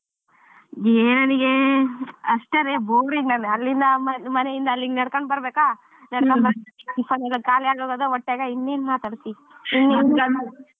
ಹೇ ನಂಗೆ ಅಷ್ಟೆರೇ boring ಅಲ್ಲಿಂದ ಮನೆ ಇಂದ ಅಲ್ಲಿಗೆ ನಡ್ಕೊಂಡ್ ಬರ್ಬೇಕಾ ನಡ್ಕೊಂಡ್ ಬಂದ್ tiffin ಎಲ್ಲಾ ಖಾಲಿ ಆಗೋಗದ ಒಟ್ನ್ಯಾಗ ಇನ್ ಏನ್ ಮಾತಾಡ್ತಿ